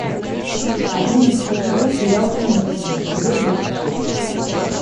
одиннадцатый сезон сериал симпсоны эпизод двадцать шесть